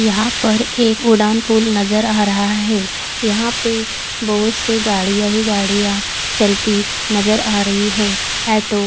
यहाँ पे एक ओडान पुल नज़र आ रहा है यहाँ पे बोहोत से गाड़िया ही गाड़िया चलती नज़र अ रही है एटो--